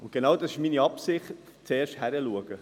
Und genau das ist meine Absicht: zuerst hinschauen.